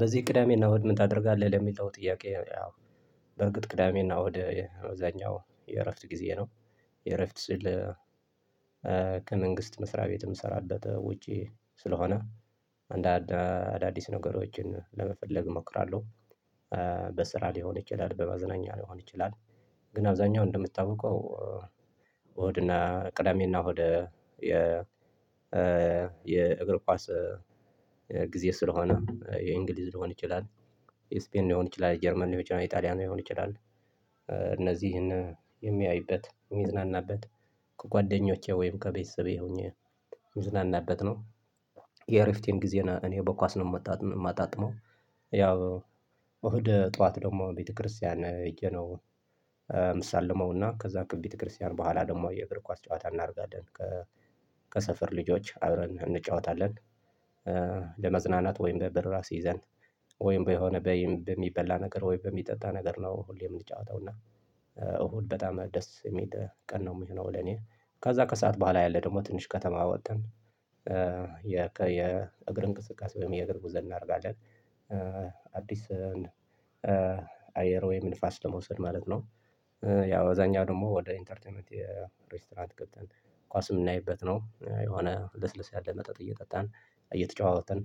በዚህ ቅዳሜና እሁድ ምን ታደርጋለህ? ለሚለው ጥያቄ ያው በእርግጥ ቅዳሜና ወደ አብዛኛው የእረፍት ጊዜ ነው የእረፍት ስል ከመንግስት መስሪያ ቤት ምሰራበት ውጪ ስለሆነ አንዳንድ አዳዲስ ነገሮችን ለመፈለግ እሞክራለሁ። በስራ ሊሆን ይችላል በማዝናኛ ሊሆን ይችላል። ግን አብዛኛው እንደምታውቀው እሁድና ቅዳሜና እሁድ የ የእግር ኳስ ጊዜ ስለሆነ የእንግሊዝ ሊሆን ይችላል የስፔን ሊሆን ይችላል የጀርመን ሊሆን ይችላል የጣሊያን ሊሆን ይችላል እነዚህን የሚያይበት የሚዝናናበት ከጓደኞቼ ወይም ከቤተሰቤ ሆኜ የምዝናናበት ነው። የእረፍቴን ጊዜ እኔ በኳስ ነው የማጣጥመው። ያው እሁድ ጠዋት ደግሞ ቤተክርስቲያን እየነው እሳለመውና ከዛ ከቤተክርስቲያን በኋላ ደግሞ የእግር ኳስ ጨዋታ እናደርጋለን። ከሰፈር ልጆች አብረን እንጫወታለን። ለመዝናናት ወይም በብር ራስ አስይዘን ወይም በሆነ በሚበላ ነገር ወይም በሚጠጣ ነገር ነው ሁሌም የምንጫወተው እና እሁድ በጣም ደስ የሚል ቀን ነው የሚሆነው። ለኔ ከዛ ከሰአት በኋላ ያለ ደግሞ ትንሽ ከተማ ወጠን የእግር እንቅስቃሴ ወይም የእግር ጉዞ እናደርጋለን አዲስ አየር ወይም ንፋስ ለመውሰድ ማለት ነው። ያው አብዛኛው ደግሞ ወደ ኢንተርቴርቴመንት የ ሬስቶራንት ገብተን ኳስ የምናይበት ነው የሆነ ለስለስ ያለ መጠጥ እየጠጣን እየተጨዋወትን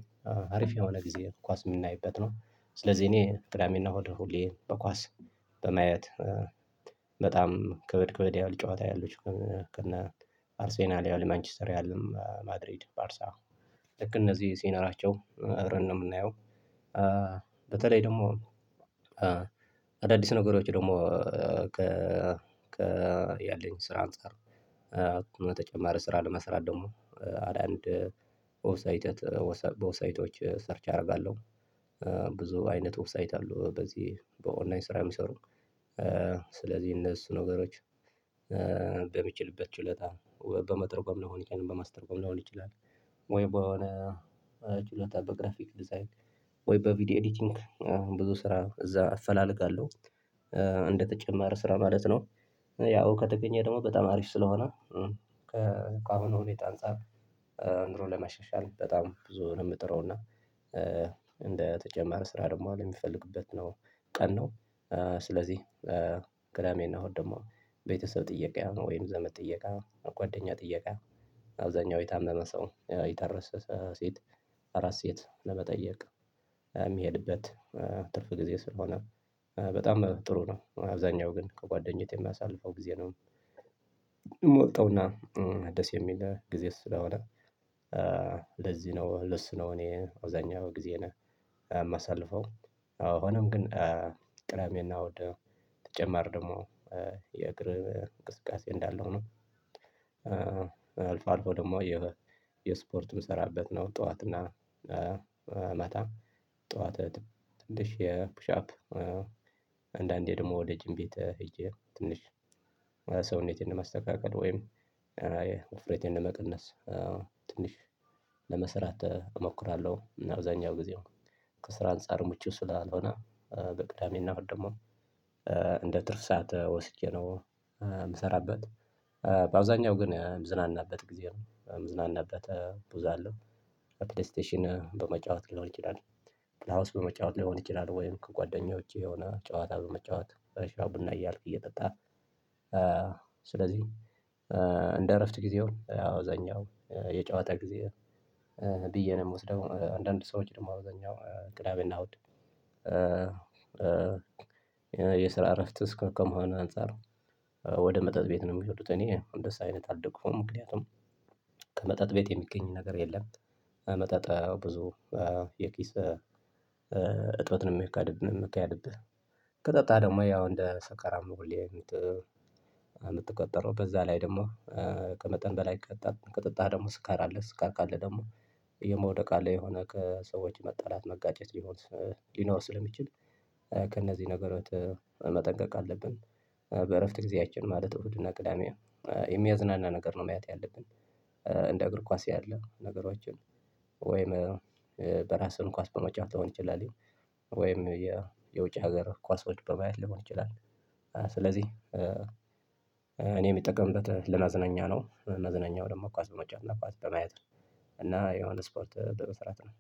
አሪፍ የሆነ ጊዜ ኳስ የምናይበት ነው። ስለዚህ እኔ ቅዳሜ እና እሁድ ሁሌ በኳስ በማየት በጣም ከበድ ከበድ ያህል ጨዋታ ያሉት ከነ አርሴናል ያህል ማንችስተር ያህል ማድሪድ ባርሳ ልክ እነዚህ ሲኖራቸው አብረን ነው የምናየው። በተለይ ደግሞ አዳዲስ ነገሮች ደግሞ ከ ያለኝ ስራ አንፃር በተጨማሪ ስራ ለመስራት ደግሞ አድ አንድ በዌብሳይቶች ሰርች አደርጋለሁ። ብዙ አይነት ወብሳይት አለው በዚህ በኦንላይን ስራ የሚሰሩ ስለዚህ እነሱ ነገሮች በሚችልበት ችልታ በመተርጎም ለሆን ይችላል በማስተርጎም ለሆን ይችላል ወይ በሆነ ችሎታ በግራፊክ ዲዛይን ወይ በቪዲዮ ኤዲቲንግ ብዙ ስራ እዛ አፈላልጋለሁ እንደተጨማረ ስራ ማለት ነው። ያው ከተገኘ ደግሞ በጣም አሪፍ ስለሆነ ከአሁኑ ሁኔታ አንፃር ኑሮን ለመሸሻል በጣም ብዙ ነው ምጥረውና እንደ ስራ ደግሞ አሁን ለሚፈልግበት ነው ቀን ነው። ስለዚህ ቅዳሜና እሁድ ደግሞ ቤተሰብ ጥየቃ ወይም ዘመድ ጥየቃ ጓደኛ ጥየቃ አብዛኛው የታመመ ሰው የታረሰ ሴት አራት ሴት ለመጠየቅ የምሄድበት ትርፍ ጊዜ ስለሆነ በጣም ጥሩ ነው አብዛኛው ግን ከጓደኘቴ የማሳልፈው ጊዜ ነው። ሞልተውና ደስ የሚል ጊዜ ስለሆነ ለዚህ ነው ለሱ ነው እኔ አብዛኛው ጊዜየነ የማሳልፈው። አዎ ሆኖም ግን ቅዳሜና እሁድ ተጨማሪ ደግሞ የእግር እንቅስቃሴ እንዳለው ሁኖ አልፎ አልፎ ደግሞ የ የስፖርት ምሰራበት ነው ጠዋት እና ማታ ጠዋት ትንሽ የፑሻፕ አንዳንዴ ደግሞ ወደ ጅም ቤት ሄጄ ትንሽ ሰውነቴን ለማስተካከል ወይም ውፍሬቴን ለመቀነስ ትንሽ ለመስራት እሞክራለሁ እና አብዛኛው ጊዜው ከስራ አንፃር ምቹ ስላልሆነ በቅዳሜና እሁድ ደግሞ እንደ ትርፍ ሰዓት ወስጄ ነው የምሰራበት። በአብዛኛው ግን ንዝናናበት ጊዜ ነው ምዝናናበት ብዙ አለው ፕሌይስቴሽን በመጫወት ሊሆን ይችላል ፕላውስ በመጫወት ሊሆን ይችላል ወይም ከጓደኞቼ የሆነ ጨዋታ በመጫወት ሻይ ቡና እያልኩ እየጠጣን። ስለዚህ እንደ እረፍት ጊዜው አብዛኛው የጨዋታ ጊዜ ብዬ ነው የምወስደው አንዳንድ ሰው ደግሞ አብዛኛው ቅዳሜና እሁድ የስራ እረፍት እስከ ከመሆኑ አንፃር። ወደ መጠጥ ቤት ነው የሚሄዱት እኔ አንደሱ አይነት አልደግፉም ምክንያቱም ከመጠጥ ቤት የሚገኝ ነገር የለም። መጠጥ ብዙ የኪስ እጥበትን የሚካድብን የሚካድብህ ከጠጣህ ደግሞ ያው እንደ ሰካራም ነው። ምትቆጠረው በዛ ላይ ደግሞ ከመጠን በላይ ቀጠ ቀጠጣህ ደግሞ ስካር አለ ስካር ካለ ደግሞ የመውደቅ አለ የሆነ ከሰዎች መጣላት መጋጨት ሊሞት ሊኖር ስለሚችል ከእነዚህ ነገሮች መጠንቀቅ አለብን። በእረፍት ጊዜያችን ማለት እሁድና ቅዳሜ የሚያዝናና ነገር ነው ማየት ያለብን። እንደ እግር ኳስ ያለ ነገሮችን ወይም በራስህም ኳስ በመጫወት ሊሆን ይችላል ወይም የ የውጭ ሀገር ኳስ ኳሶች በማየት ሊሆን ይችላል። ስለዚህ እኔ የምጠቀምበት ለመዝናኛ ነው እና መዝናኛው ደግሞ ኳስ በመጫወት እና ኳስ በማየት ነው እያ የሆነ ስፖርት በመስራት ነው።